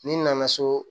Ni n nana so